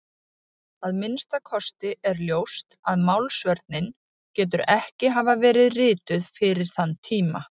Að minnsta kosti er ljóst að Málsvörnin getur ekki hafa verið rituð fyrir þann tíma.